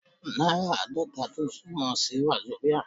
Náírà Aadọ́ta tún túmọ̀ sí Wazobia.